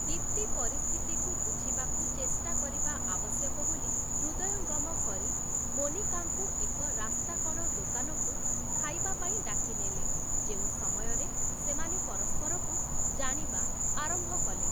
ଦୀପ୍ତି ପରିସ୍ଥିତିକୁ ବୁଝିବାକୁ ଚେଷ୍ଟା କରିବା ଆବଶ୍ୟକ ବୋଲି ହୃଦୟଙ୍ଗମ କରି, ମୋନିକାଙ୍କୁ ଏକ ରାସ୍ତାକଡ଼ ଦୋକାନକୁ ଖାଇବା ପାଇଁ ଡାକିନେଲେ, ଯେଉଁ ସମୟରେ ସେମାନେ ପରସ୍ପରକୁ ଜାଣିବା ଆରମ୍ଭ କଲେ ।